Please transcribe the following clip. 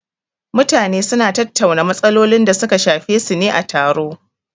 Mutane su na tattauna matsalolin da su ka shafe su ne a taro